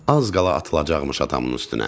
Az qala atılacaqmış atamın üstünə.